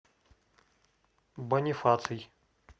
бонифаций